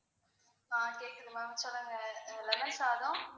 ஆஹ் கேக்குது ma'am சொல்லுங்க lemon சாதம்,